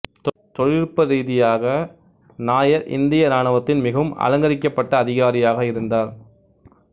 தொழில்நுட்ப ரீதியாக நாயர் இந்திய இராணுவத்தின் மிகவும் அலங்கரிக்கப்பட்ட அதிகாரியாக இருந்தார்